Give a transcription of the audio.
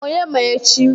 Onye ma echi?